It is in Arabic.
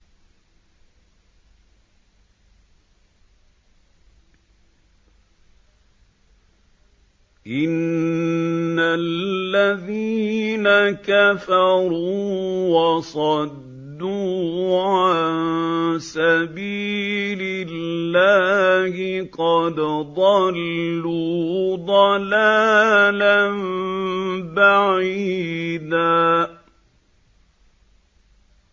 إِنَّ الَّذِينَ كَفَرُوا وَصَدُّوا عَن سَبِيلِ اللَّهِ قَدْ ضَلُّوا ضَلَالًا بَعِيدًا